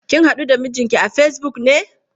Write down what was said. Kin haɗu da mijinki a Facebook ne?